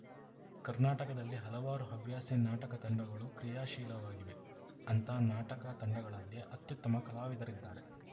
ಕರ್ನಾಟಕದಲ್ಲಿ ಹಲವಾರು ಹವ್ಯಾಸಿ ನಾಟಕ ತಂಡಗಳು ಕ್ರಿಯಾಶೀಲವಾಗಿವೆ ಅಂಥ ನಾಟಕ ತಂಡಗಳಲ್ಲಿ ಅತ್ಯುತ್ತಮ ಕಲಾವಿದರಿದ್ದಾರೆ